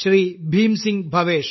Bhim Singh Bhavesh